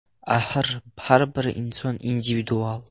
Axir, har bir inson individual.